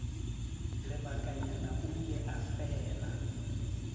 lebakanyana o ile a fela